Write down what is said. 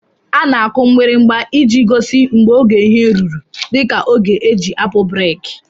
Ana akụ mgbirimgba iji gosi mgbe ógè ihe lụrụ dika ógè eji apụ breeki.